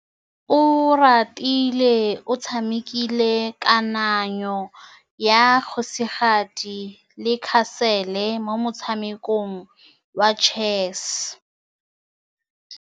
Oratile o tshamekile kananyô ya kgosigadi le khasêlê mo motshamekong wa chess.